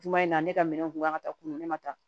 Juma in na ne ka minɛnw kun kan ka taa kunkolo ne ma tan